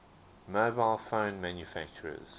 mobile phone manufacturers